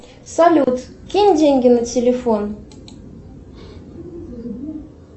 салют кинь деньги на телефон